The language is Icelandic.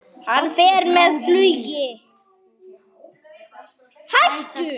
Hann fer með flugi.